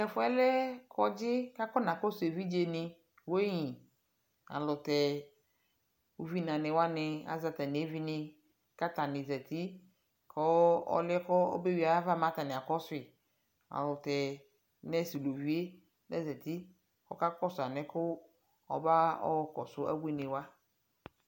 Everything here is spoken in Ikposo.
tʋ ɛƒʋɛ lɛ kɔdzi kʋ akɔna kɔsʋ ɛvidzɛ ni weighing alʋtɛ ʋvi na ni wani azɛ atani ɛvi ni kʋ atani zati kʋ ɔlʋɛ kʋ ɔbɛ wi ayiava mɛ atani akɔsʋi alʋtɛ nurse ʋlʋviɛ ɔzati ɔkakɔsʋ alɛkʋ ɔba yɔ kɔsʋ abʋini wa.